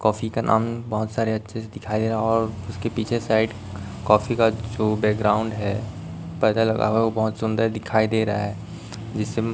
Coffee का नाम बहोत सारे अच्छे से दिखाइ दे रहा है। और उसके पीछे साइड कॉफी का जो बैकग्राउंड है पर्दा लगा हुआ है। बहोत सुंदर दिखाई दे रहा है। जिस --